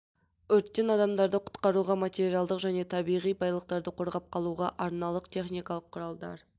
өрттен адамдарды құтқаруға материалдық және табиғи байлықтарды қорғап қалуға арналған техникалық құралдар